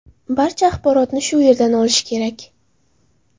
Barcha axborotni shu yerdan olish kerak.